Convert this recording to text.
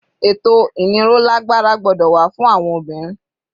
Ètò ìnírolágbára gbọ́dọ̀ wà fún àwọn obìnrin.